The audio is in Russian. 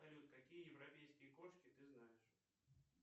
салют какие европейские кошки ты знаешь